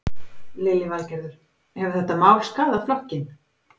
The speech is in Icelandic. Lillý Valgerður: Hefur þetta mál skaðað flokkinn?